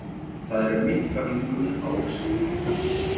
Það eru miklar líkur á ósigri